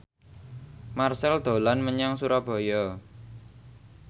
Marchell dolan menyang Surabaya